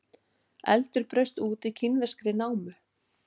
Eldur braust út í kínverskri námu